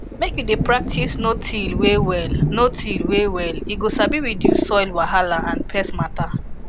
make you dey practice notill way well notill way well e go sabi reduce soil wahala and pest matter